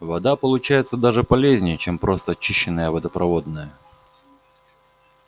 вода получается даже полезнее чем просто очищенная водопроводная